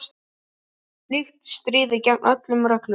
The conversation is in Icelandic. Slíkt stríðir gegn öllum reglum.